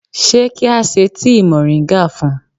Ṣé kí á se tíì mòríńgà fun?